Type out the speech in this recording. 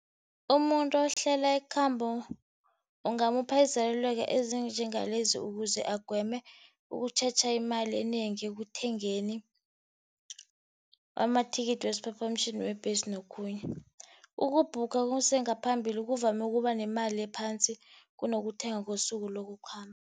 Umuntu ohlela ikhambo ungamupha izeluleko ezinjengalezi ukuze agweme imali enengi ekuthengeni amathikithi wesiphaphamtjhini, webhesi, nokhunye. Uku-book kusengaphambili kuvamise ukuba nemali ephasi kunokuthenga ngesuku lokukhamba.